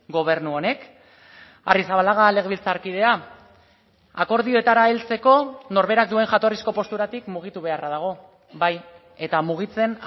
gobernu honek arrizabalaga legebiltzarkidea akordioetara heltzeko norberak duen jatorrizko posturatik mugitu beharra dago bai eta mugitzen